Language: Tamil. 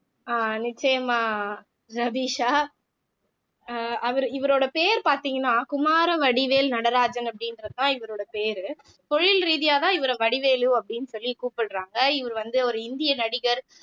ஆஹ் நிச்சயமா ரபிஷா அஹ் அவரு இவரோட பேர் பாத்தீங்கன்னா குமாரவடிவேல் நடராஜன் அப்படின்றதுதான் இவரோட பேரு தொழில் ரீதியாதான் இவர வடிவேலு அப்படின்னு சொல்லி கூப்பிடுறாங்க இவர் வந்து ஒரு இந்திய நடிகர்